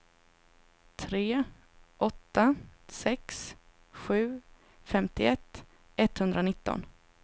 tre åtta sex sju femtioett etthundranitton